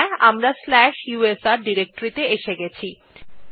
হ্যাঁ আমরা slash USR directory ত়ে এসে গেছি